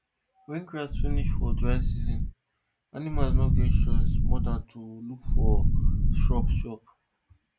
wen grass finish for dry season animals no get choice more than to look for shrubs chop